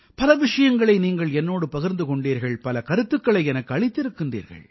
பல விஷயங்களை நீங்கள் என்னோடு பகிர்ந்து கொண்டீர்கள் பல கருத்துக்களை எனக்கு அளித்திருக்கின்றீர்கள்